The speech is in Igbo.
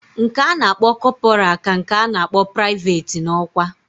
Nke ana akpo corporal ka nke ana akpo private na okwa.